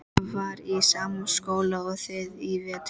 Ég var í sama skóla og þið í vetur.